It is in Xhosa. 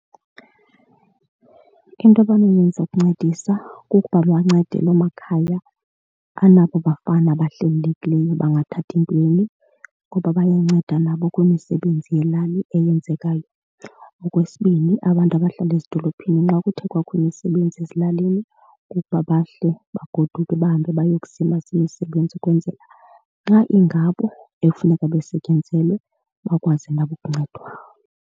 Into abanoyenza ukuncedisa kukuba bancede loo makhaya anabo bafana bahlelelekileyo bangathathi ntweni ngoba bayanceda nabo kwimisebenzi yelali eyenzekayo. Okwesibini abantu abahlala ezidolophini xa kuthe kwakho imisebenzi ezilalini kukuba bahle bagoduke bahambe bayokuzimasa imisebenzi ukwenzela xa ingabo ekufuneka besetyenzelwe, bakwazi nabo ukuncedwa.